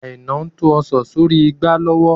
Aina ń to Ọ̀sán sì orí igbá lọ́wọ́.